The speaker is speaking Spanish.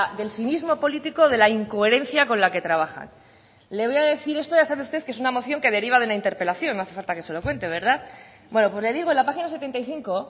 del cinismo político de la incoherencia con la que trabajan le voy a decir esto ya sabe usted que es una moción que deriva de una interpelación no hace falta que se lo cuente verdad bueno pues le digo en la página setenta y cinco